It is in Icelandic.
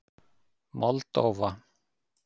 Moldóva